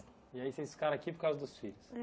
E aí vocês ficaram aqui por causa dos filhos?